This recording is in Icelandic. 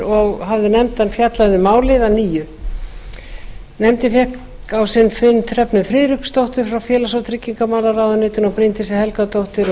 og hafði nefndin fjallað um málið að nýju nefndin fékk á sinn fund hrefnu friðriksdóttur frá félags og tryggingamálaráðuneyti og bryndísi helgadóttur og